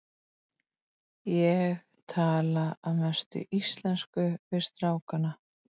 Ég tala að mestu íslensku við strákana.